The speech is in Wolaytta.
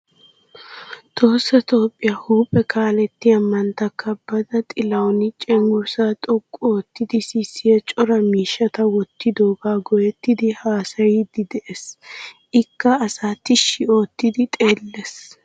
Tohossa Toophphiya huuphe kaalettiya mantta kabbada Xilawuuni cenggurssaa xoqqu oottidi sissiya cora miishshata wottidoogaa go'ettidi haasayiiddi de'ees. Ikka asaa tishshi oottidi xeellees.